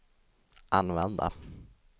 använda